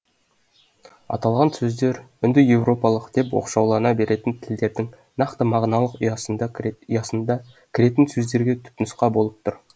аталған сөздер үнді европалық деп оқшаулана беретін тілдердің нақты мағыналық ұясында кіретін сөздерге түпнұсқа болып тұр